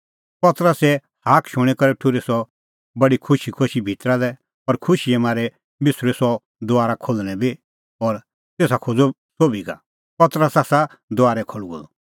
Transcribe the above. पतरसे हाक शूणीं करै ठुर्ही सह बडी खुशीखुशी भितरा लै और खुशीए मारै बिसरूई सह दुआरा खोल्हणैं बी और तेसा खोज़अ सोभी का पतरस आसा दुआरै खल़्हुअ द